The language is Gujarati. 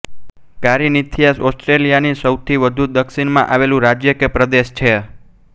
કારિન્થિયા ઓસ્ટ્રિયાની સૌથી વધુ દક્ષિણમાં આવેલું રાજ્ય કે પ્રદેશ છે